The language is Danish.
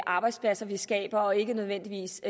arbejdspladser vi skaber og ikke nødvendigvis